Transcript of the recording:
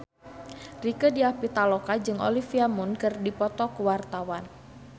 Rieke Diah Pitaloka jeung Olivia Munn keur dipoto ku wartawan